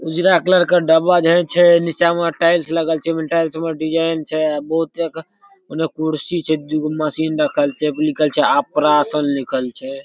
उजरा कलर के डब्बा जई छै नीचा मा टाइल्स लगल छै टाइल्स में डिज़ाइन छै बहुत तरह के ओने कुर्सी छै दू गो मशीन रखल छै ओय पर लिखल छै अपरा सन लिखल छै।